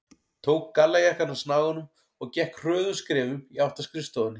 Tók gallajakkann af snaganum og gekk hröðum skrefum í átt að skrifstofunni.